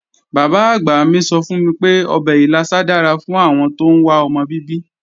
Bàbá-àgbà mi sọ fún mi pé ọbẹ̀ ìlàsà dára fún àwọn tóún wá ọmọ bíbí